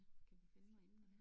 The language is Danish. Kan vi finde noget emne her?